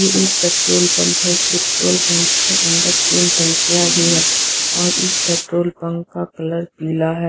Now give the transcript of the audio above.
ये एक petrol pump है इस पेट्रोल पंप के अंदर तीन टंकियां भी हैं और इस पेट्रोल पंप का कलर पीला है।